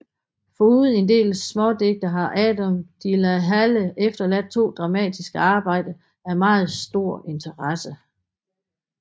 Foruden en del smådigte har Adam de la Halle efterladt to dramatiske arbejder af meget stor interesse